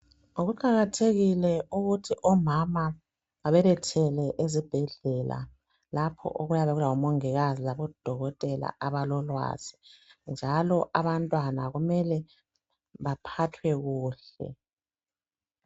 Kuqakathekile ukuthi omama babelethele ezibhedlela. Lapho okuyabe kulabomongikazi laboDokotela abalolwazi .Njalo kumele abantwana baphathwe kuhle .